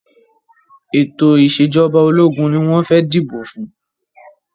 Ètò ìṣẹ̀jọba ológun ni wọ́n fẹ́ dìbò fún.